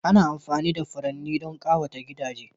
Ana amfani da furanni don ƙawata gidaje